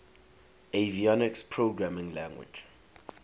avionics programming language